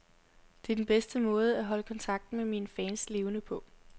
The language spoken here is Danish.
Det er den bedste måde at holde kontakten med mine fans levende på.